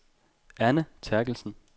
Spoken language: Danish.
Anne Therkelsen